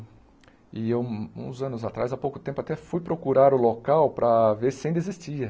E eu, um uns anos atrás, há pouco tempo, até fui procurar o local para ver se ainda existia.